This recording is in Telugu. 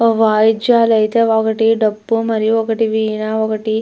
వాయిద్యాలు అయితే ఒకటి డప్పు మరియు ఒకటి వీణ ఒకటి --